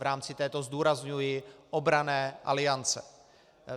V rámci této - zdůrazňuji - obranné aliance.